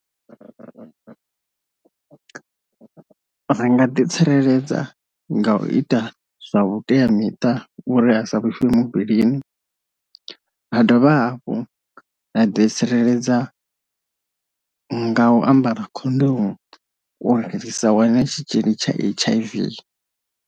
Ri nga ḓi tsireledza nga u ita zwa vhuteamiṱa uri a sa vhifhe muvhilini, ha dovha hafhu a ḓi tsireledza nga u ambara khondomu uri ri sa wane tshitzhili tsha H_I_V.